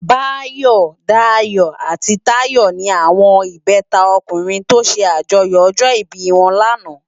Bayo, Dayo ati Tayo ni áwòn ibètá ókùrin tò sè ájòyò òjò ibi wòn làná